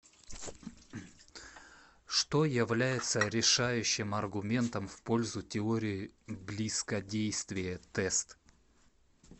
что является решающим аргументом в пользу теории близкодействия тест